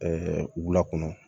wula kɔnɔ